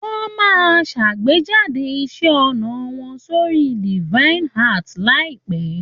Wọ́n máa ṣàgbéjádè iṣẹ́ ọnà wọn sórí DevianArt láìpẹ̀.